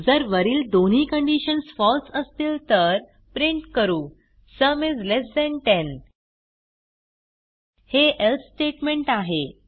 जर वरील दोन्ही कंडिशन्स फळसे असतील तर प्रिंट करू सुम इस लेस थान 10